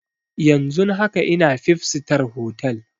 Yanzun haka ina fib sitar hotal